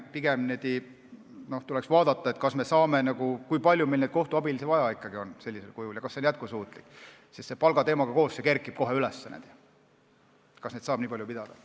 Pigem tuleks vaadata, kui palju meil neid kohtuabilisi vaja on sellisel kujul ja kas see on jätkusuutlik, sest palgateemaga koos kerkib see teema kohe üles, kas neid saab nii palju olla.